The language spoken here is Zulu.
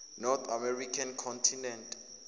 north american continent